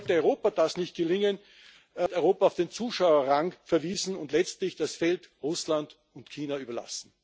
Sollte Europa das nicht gelingen, wird Europa auf den Zuschauerrang verwiesen, und muss letztlich das Feld Russland und China überlassen.